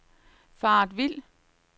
faret vild